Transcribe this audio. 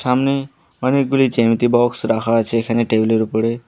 সামনে অনেকগুলি জ্যামিতি বক্স রাখা আছে এখানে টেবিল এর উপরে।